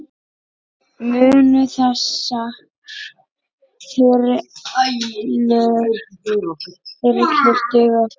Munu þessar þyrlur duga okkur?